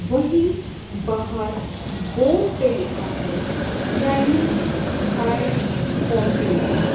वही बाहर बोर्ड पे लिखा है चाइनीज थाई कॉन्टिनेंट --